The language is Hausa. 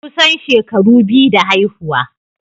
Kusan shekaru biyu da haihuwa.